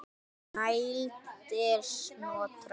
Snælda er Snotra